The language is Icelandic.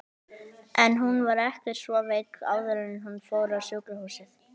En hún var ekki svo veik áður en hún fór á sjúkrahúsið.